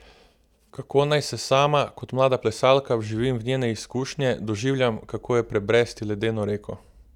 Kako naj se sama, kot mlada plesalka, vživim v njene izkušnje, doživljam, kako je prebresti ledeno reko?